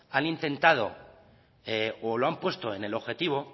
han intentado o lo han puesto en el objetivo